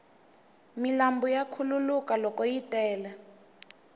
milambu ya khuluka loko yi tele